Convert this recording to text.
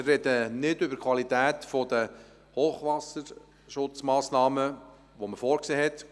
Wir sprechen nicht über die Qualität der Hochwasserschutzmassnahmen, die man vorgesehen hatte.